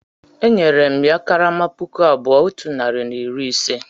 Enyere m ya karama puku abụọ otu narị na iri ise